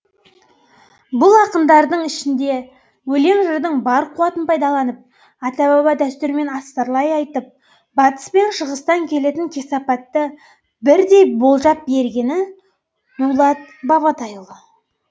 бұл ақындардың ішінде өлең жырдың бар қуатын пайдаланып ата баба дәстүрімен астарлай айтып батыс пен шығыстан келетін кесапатты бірдей болжап бергені дулат бабатайұлы